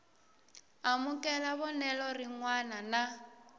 amukela vonelo rin wana na